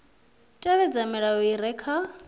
tevhedza milayo i re kha